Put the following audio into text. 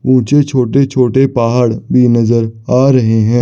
ऊंचे छोटे छोटे पहाड़ भी नजर आ रहे हैं।